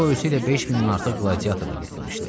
O özü ilə 5 mindən artıq qladiyator da gətirmişdi.